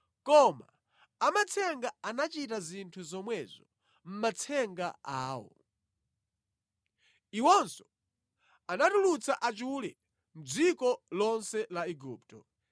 Koma amatsenga anachita zinthu zomwezo mʼmatsenga awo. Iwonso anatulutsa achule mʼdziko lonse la Igupto.